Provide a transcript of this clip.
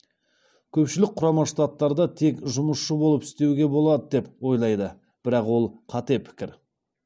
көпшілік құрама штаттарда тек жұмысшы болып істеуге болады деп ойлайды бірақ ол қате пікір